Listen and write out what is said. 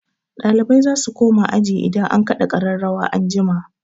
Ɗalibai za su koma aji idan an kaɗa ƙararrawa an jima.